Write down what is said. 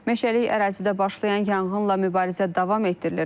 Meşəlik ərazidə başlayan yanğınla mübarizə davam etdirilir.